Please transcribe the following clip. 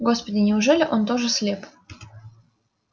господи неужели он тоже слеп